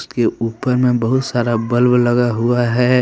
के ऊपर में बहुत सारा बल्ब लगा हुआ है।